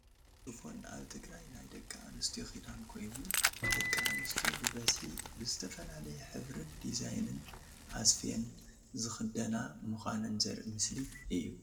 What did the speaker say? ሽፎን ኣብ ትግራይ ናይ ደቂ ኣንስትዮ ክዳን ኮይኑ ደቂ ኣንስትዮ ብበዝሒ ብዝተፈላለየ ሕብርን ዲዛይንን ኣስፍየን ዝክደና ምኳነን ዘርኢ ምስሊ እዩ።